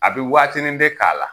A bi waatinin de k'a la.